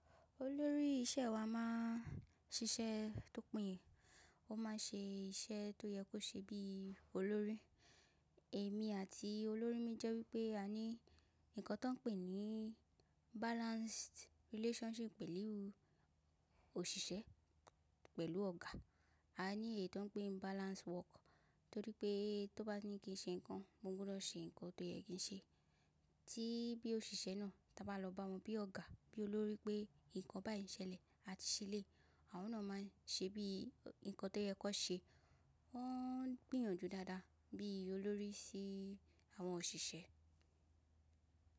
Olórí iṣẹ́ wa máa ń ṣiṣẹ́ tó péye. Ó máa ń ṣe iṣẹ́ tó yẹ kó ṣe bí i olórí. Èmi àti olórí mi jẹ́ wípé a ní nǹkan tó ń pè ní balanced relationship pẹ̀lú òṣìṣẹ́, pẹ̀lú ọ̀gá. A ní èyí tó ń pè ní balanced work torí pé tó bá ní kí n ṣe nǹkan mo gbúdọ̀ ṣe nǹkan tó yẹ kí n ṣe. Tí bí òṣìṣẹ́ náà ta bá lọ bá wọn bí ọ̀gá, bí olórí pé nǹkan báyìí ṣẹlẹ̀ àti ṣeléyi, àwọn náà máa ń ṣe bí i nǹkan tó yẹ kó ṣe. Wọ́n gbìyànjú dáadáa bí i olórí sí àwọn òṣìṣẹ́.